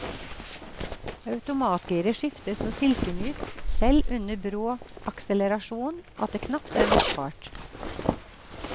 Automatgiret skifter så silkemykt, selv under brå akselerasjon, at det knapt er merkbart.